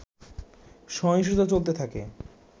সহিংসতা চলতে থাকে